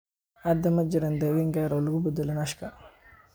Hadda, ma jiraan daawayn gaar ah oo loogu talagalay NASHka.